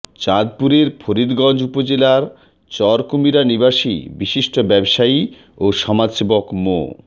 চাঁদপুরের ফরিদগঞ্জ উপজেলার চরকুমিরা নিবাসী বিশিষ্ট ব্যবসায়ী ও সমাজসেবক মো